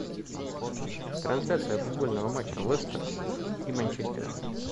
трансляция футбольного матча лестер и манчестера